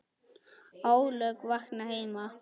ólög vakna heima.